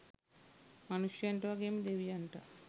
මනුෂ්‍යයන්ට වගේම දෙවියන්ටත්